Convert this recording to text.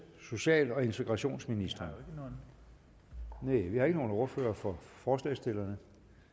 social og integrationsministeren vi har ingen ordfører for forslagsstillerne